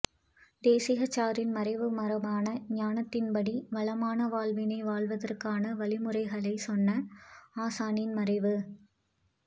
தேசிகாச்சாரின் மறைவு மரபான ஞானத்தின்படி வளமான வாழ்வினை வாழ்வதற்கான வழிமுறைகளைச் சொன்ன ஆசானின் மறைவு